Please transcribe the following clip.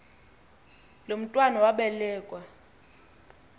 lo mntwana wabelekua